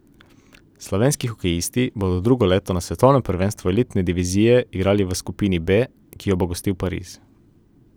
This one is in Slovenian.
Slovenski hokejisti bodo drugo leto na svetovnem prvenstvu elitne divizije igrali v skupini B, ki jo bo gostil Pariz.